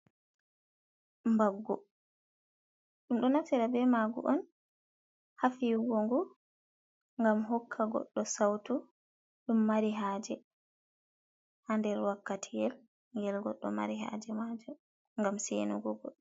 Mbaggu ɗum ɗo naftira be mangu on ha fiyugo ngu, gam hokka goɗɗo sautu, ɗum mari haje, ha nder wakkati yel gel goɗɗo mari haje majum, gam sei nugo.